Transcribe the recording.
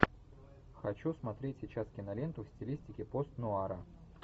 хочу смотреть сейчас киноленту в стилистике пост нуара